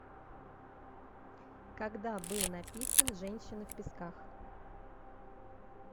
когда был написан женщина в песках